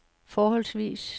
forholdsvis